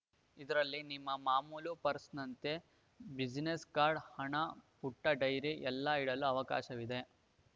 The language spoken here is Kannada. ಇದರಲ್ಲಿ ನಿಮ್ಮ ಮಾಮೂಲು ಪರ್ಸ್‌ನಂತೆ ಬ್ಯುಸಿನೆಸ್‌ ಕಾರ್ಡ್‌ ಹಣ ಪುಟ್ಟಡೈರಿ ಎಲ್ಲ ಇಡಲು ಅವಕಾಶವಿದೆ